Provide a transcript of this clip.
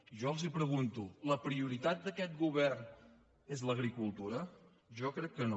i jo els pregunto la prioritat d’aquest govern és l’agri·cultura jo crec que no